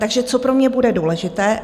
Takže co pro mě bude důležité?